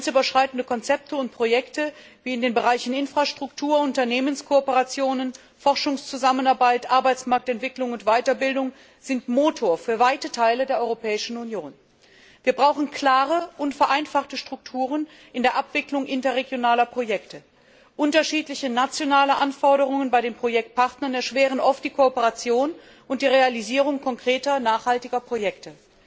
Grenzüberschreitende Konzepte und Projekte, wie in den Bereichen Infrastruktur, Unternehmenskooperationen, Forschungszusammenarbeit, Arbeitsmarktentwicklung und Weiterbildung, sind Motor für weite Teile der Europäischen Union. Wir brauchen klare und vereinfachte Strukturen in der Abwicklung interregionaler Projekte. Unterschiedliche nationale Anforderungen bei den Projektpartnern erschweren oft die Kooperation und die Realisierung konkreter nachhaltiger Projekte.